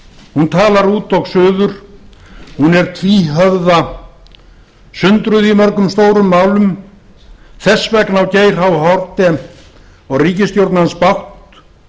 hún talar út og suður hún er tvíhöfða og sundruð í mörgum stórum málum þess vegna á geir h haarde og ríkisstjórn hans bágt